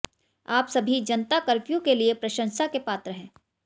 आप सभी जनता कर्फ्यू के लिए प्रशंसा के पात्र हैं